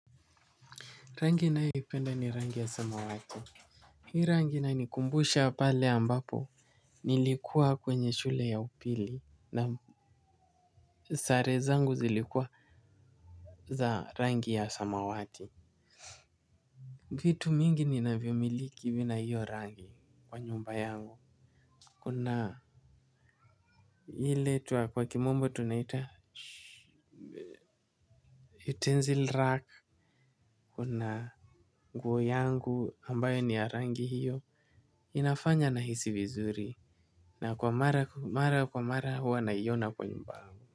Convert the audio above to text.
Rangi ninayoipenda ni rangi ya samawati. Hii rangi inani kumbusha pale ambapo. Nilikuwa kwenye shule ya upili. Naam sare zangu zilikuwa za rangi ya samawati. Kitu mingi ni navyomiliki vina hiyo rangi kwa nyumba yangu. Kuna ile tuwa kwa kimombo tunaita sh. Utensil rack. Kuna nguo yangu ambayo ni ya rangi hiyo. Inafanya na hisi vizuri. Na kwa mara kwa mara huwa na iona kwenye mba huu.